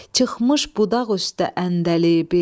Çıxmış budaq üstə əndəlibü,